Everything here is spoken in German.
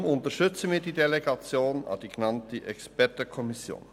Deshalb unterstützen wir die Delegation an die genannte Expertenkommission.